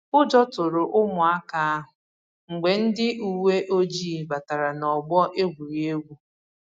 Ụjọ tụrụ ụmụaka ahụ mgbe ndị uwe ojii batara n'ọgbọ egwuregwu